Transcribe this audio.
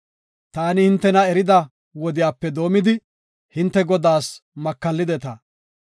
Taani hintena erida wodiyape doomidi, hinte Godaas makallideta.